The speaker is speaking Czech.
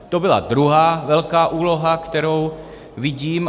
To byla druhá velká úloha, kterou vidím.